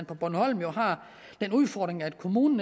på bornholm har den udfordring at kommunen